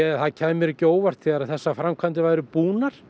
það kæmi mér ekki á óvart þegar þessar framkvæmdir væru búnar